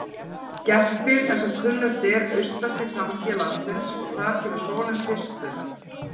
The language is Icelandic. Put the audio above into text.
Gerpir er sem kunnugt er austasti tangi landsins og þar kemur sólin fyrst upp.